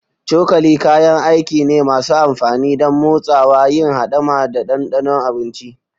Cokali kayan aiki ne masu amfani don motsawa, yin hidima, da ɗanɗano abinci.